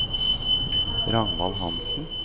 Ragnvald Hanssen